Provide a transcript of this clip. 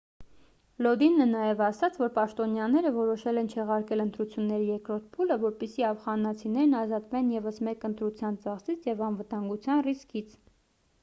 լոդինը նաև ասաց որ պաշտոնյաները որոշել են չեղարկել ընտրությունների երկրորդ փուլը որպեսզի աֆղանացիներն ազատվեն ևս մեկ ընտրության ծախսից և անվտանգության ռիսկից